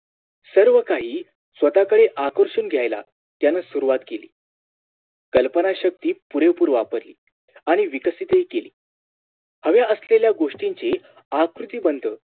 सर्व काही स्वतःकडे आकर्षून घ्यायला यान सुरुवात केली कल्पना शक्ती पुरेपूर वापरली आणि विकसतही केली हवे असलेल्या गोष्टींची आकृतिबंध